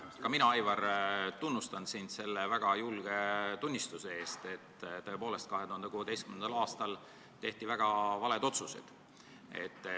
Ka mina, Aivar, tunnustan sind selle väga julge tunnistuse eest, et tõepoolest 2016. aastal tehti väga valed otsused.